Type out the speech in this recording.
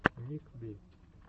ник би